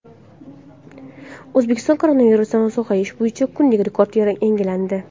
O‘zbekistonda koronavirusdan sog‘ayish bo‘yicha kunlik rekord yangilandi.